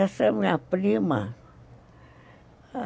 Essa é a minha prima.